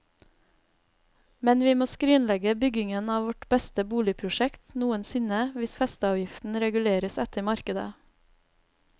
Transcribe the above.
Men vi må skrinlegge byggingen av vårt beste boligprosjekt noensinne hvis festeavgiften reguleres etter markedet.